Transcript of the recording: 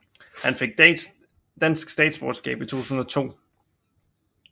Han fik dansk statsborgerskab i 2002